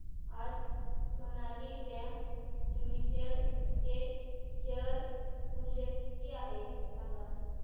आज Sonali bank limited चे share मूल्य किती आहे सांगा